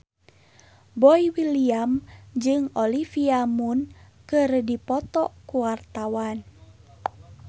Boy William jeung Olivia Munn keur dipoto ku wartawan